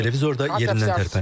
Televizor da yerindən tərpənib.